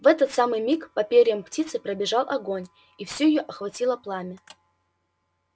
в этот самый миг по перьям птицы пробежал огонь и всю её охватило пламя